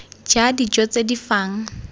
ja dijo tse di fang